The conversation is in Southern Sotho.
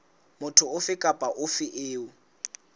motho ofe kapa ofe eo